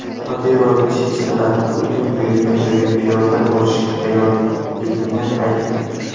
Qodirov chechenlar Putin buyurgan joyga piyoda borishga tayyorligini aytdi.